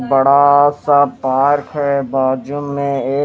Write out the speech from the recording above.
बड़ा सा पार्क है बाज़ू में ये--